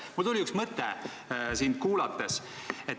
Mul tuli üks mõte sind kuulates.